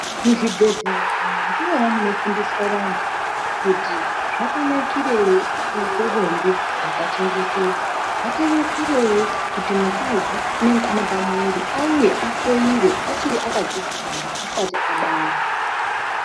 Muzvibhedhlera ndimona munofundiswa vantu kuti zvakanakirei kuite bonde rakachengetedzwa, zvakanakirei kuti mukadzi unenge ane pamuviri auye ahloyiwe achiri akadzitwara asati abara.